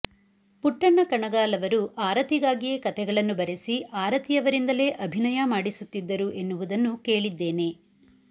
ಪುಟ್ಟಣ್ಣ ಕಣಗಾಲ್ ಅವರು ಆರತಿಗಾಗಿಯೇ ಕಥೆಗಳನ್ನು ಬರೆಸಿ ಆರತಿಯವರಿಂದಲೇ ಅಭಿನಯ ಮಾಡಿಸುತ್ತಿದ್ದರು ಎನ್ನುವುದನ್ನು ಕೇಳಿದ್ದೇನೆ